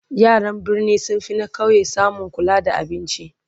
yaran birni sun finna ƙauye samun kula da abinci